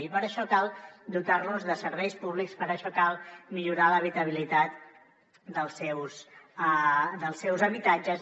i per això cal dotar los de serveis públics per això cal millorar l’habitabilitat dels seus habitatges